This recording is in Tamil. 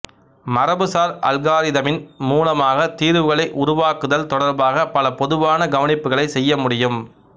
மரபுசார் அல்காரிதமின் மூலமாக தீர்வுகளை உருவாக்குதல் தொடர்பாக பல பொதுவான கவனிப்புகளைச் செய்ய முடியும்